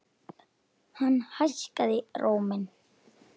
Hann hækkaði róminn.